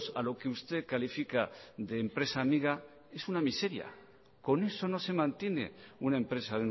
a lo que usted califica de empresa amiga es una miseria con eso no se mantiene una empresa